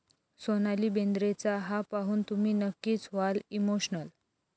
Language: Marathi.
सोनाली बेंद्रेचा हा पाहून तुम्ही नक्कीच व्हाल इमोशनल